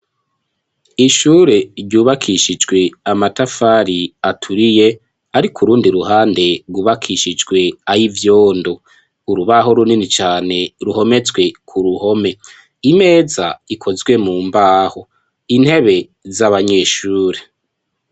Ishure ryubakishijwe amatafari aturiye, ariko urundi ruhande rwubakishijwe ay'ivyondo urubaho runini cane ruhometswe ku ruhome; imeza ikozwe mu mbaho intebe z'abanyeshure.